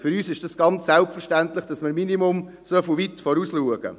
Für uns ist dies ganz selbstverständlich, dass wir im Minimum so weit vorausschauen.